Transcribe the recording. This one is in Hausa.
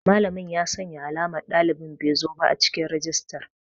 Malamin ya sanya alamar ɗalibin bezoba a cikin rajistar.